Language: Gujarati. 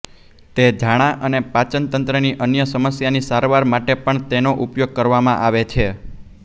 તે ઝાડાં અને પાચનતંત્રની અન્ય સમસ્યાની સારવાર માટે પણ તેનો ઉપયોગ કરવામાં આવે છે